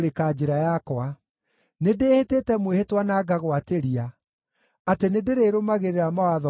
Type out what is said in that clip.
Nĩndĩĩhĩtĩte mwĩhĩtwa na ngagwatĩria, atĩ nĩndĩrĩrũmagĩrĩra mawatho maku ma ũthingu.